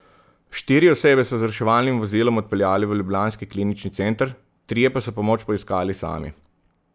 Štiri osebe so z reševalnim vozilom odpeljali v ljubljanski klinični center, trije pa so pomoč poiskali sami.